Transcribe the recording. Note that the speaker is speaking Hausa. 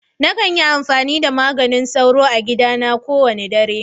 Na kan yi amfani da maganin soro a gida na ko wani dare.